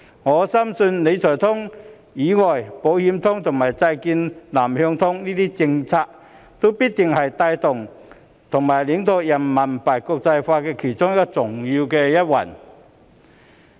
我深信除了"理財通"之外，"保險通"及債券"南向通"這些政策，均必定是帶動及領導人民幣國際化其中的重要一環。